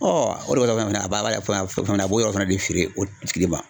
o de kama a b'a fɔ fɛna a b'o yɔrɔ fana de feere o tigi ma.